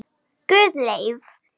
Guðleif